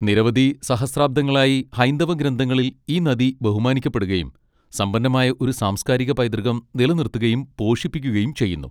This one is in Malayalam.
നിരവധി സഹസ്രാബ്ദങ്ങളായി ഹൈന്ദവ ഗ്രന്ഥങ്ങളിൽ ഈ നദി ബഹുമാനിക്കപ്പെടുകയും സമ്പന്നമായ ഒരു സാംസ്കാരിക പൈതൃകം നിലനിർത്തുകയും പോഷിപ്പിക്കുകയും ചെയ്യുന്നു.